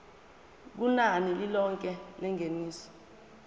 kunani lilonke lengeniso